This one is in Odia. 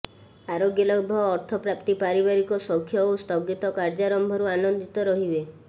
ଆରୋଗ୍ୟଲାଭ ଅର୍ଥପ୍ରାପ୍ତି ପାରିବାରିକ ସୌଖ୍ୟ ଓ ସ୍ଥଗିତକାର୍ଯ୍ୟାରମ୍ଭରୁ ଆନନ୍ଦିତ ରହିବେ